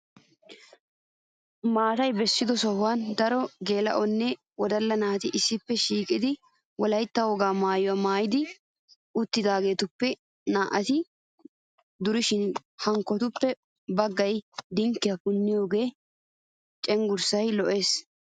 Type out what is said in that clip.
Maatay bessido sohuwan daro geela'onne woddalla naati issippe shiiqidi wolaytta wogaa maayuwa maayidi uttidaageetuppe naa"ati durishin hankootuppe baggay dinkkiya puniyogaa cengurssay lo'es.